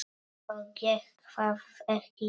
Og gekk það ekki vel.